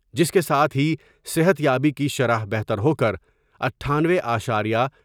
جس کے ساتھ ہی صحت یابی کی شرح بہتر ہوکر اٹھانوے اشاریہ